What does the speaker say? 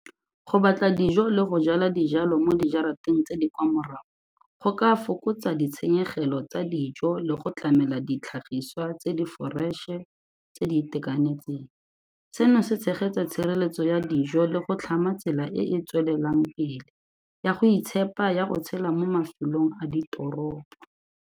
Go batla dijo le go jala dijalo mo di jarateng tse di kwa morago, go ka fokotsa ditshenyegelo tsa dijo le go tlamela ditlhagiswa tse di foreše tse di itekanetseng, seno se tshegetsa tshireletso ya dijo le go tlhama tsela e e tswelelang pele ya go itshepa ya go tshela mo mafelong a ditoropo.